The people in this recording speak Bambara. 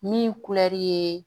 Min kulɛri ye